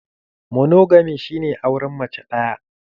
Monogami shi ne auren mace ɗaya.